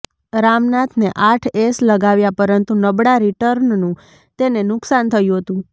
રામનાથને આઠ એસ લગાવ્યા પરંતુ નબળા રિટર્નનું તેને નુકસાન થયું હતું